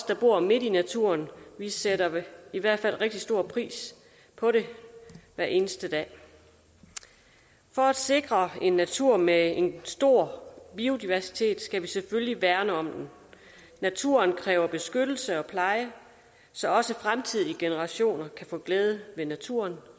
der bor midt i naturen sætter i hvert fald rigtig stor pris på den hver eneste dag for at sikre en natur med en stor biodiversitet skal vi selvfølgelig værne om den naturen kræver beskyttelse og pleje så også fremtidige generationer kan få glæde ved naturen